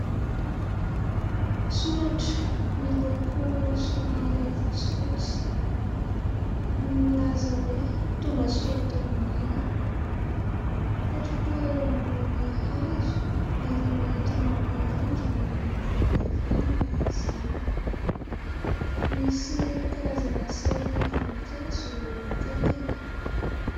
Soratra miloko somary fotsifotsy, milaza hoe tongasoa ato aminay. Mipetraka eo ambony hazo ary mihantona amin'ny rindrina miloko volondavenona izany. Misy karazana sary voninkazo eo akaikiny.